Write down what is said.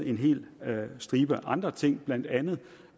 en hel stribe andre ting blandt andet